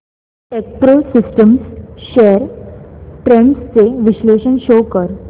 Techpro systems shares trends चे विश्लेषण show कर